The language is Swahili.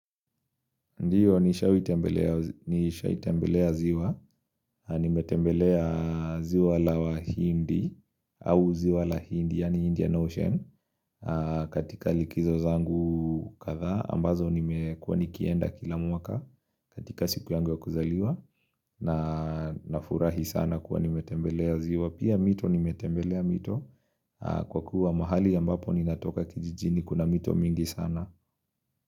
Ndiyo, nimewahi tembelea ziwa, nimetembelea ziwa la wahindi, au ziwa la hindi, yani Indian Ocean, katika likizo zangu kadhaa, ambazo nimekuwa nikienda kila mwaka katika siku yangu wa kuzaliwa, na nafurahi sana kuwa nimetembelea ziwa, pia mito nimetembelea mito, kwa kuwa mahali ambapo ninatoka kijijini, kuna mito mingi sana.